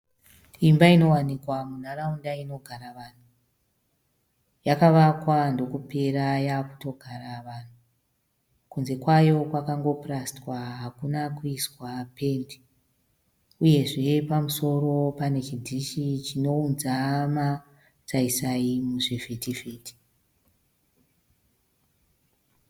Imba inowanikwa munharaunda inogara vanhu yakavakwa ndokutopera yaa kutogara vanhu. Kunze kwayo kwakango purastiwa hakuna kuiswa pendi uyezve pamusoro pane chidhishi chinounza masaisai muzvivhiti vhiti.